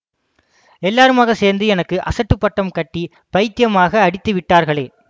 எல்லாருமாகச் சேர்ந்து எனக்கு அசட்டுப் பட்டம் கட்டி பைத்தியமாக அடித்து விட்டார்களே